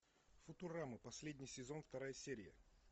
футурама последний сезон вторая серия